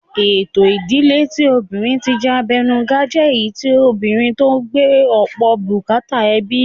Ètò ìdíle tí obìnrin ti jẹ́ abẹnugan jẹ́ èyí tí obìnrin ló ń gbé ọ̀pọ̀ bùkátà ẹbí